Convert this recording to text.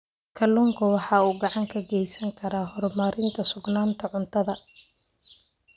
Kalluunku waxa uu gacan ka geysan karaa horumarinta sugnaanta cuntada.